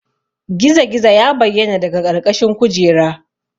Gizo-gizo ya bayyana daga ƙarƙashin kujera.